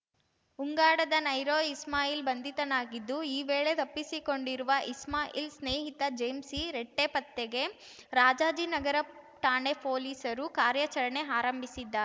ಉಂಗಾಡದ ನೈರೋ ಇಸ್ಮಾಯಿಲ್‌ ಬಂಧಿತನಾಗಿದ್ದು ಈ ವೇಳೆ ತಪ್ಪಿಸಿಕೊಂಡಿರುವ ಇಸ್ಮಾಯಿಲ್‌ ಸ್ನೇಹಿತ ಜೇಮ್ಸಿ ರಿಟ್ಟೆಪತ್ತೆಗೆ ರಾಜಾಜಿನಗರ ಠಾಣೆ ಪೊಲೀಸರು ಕಾರ್ಯಾಚರಣೆ ಆರಂಭಿಸಿದ್ದಾ